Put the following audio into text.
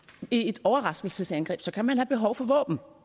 i et overraskelsesangreb så kan have behov for våben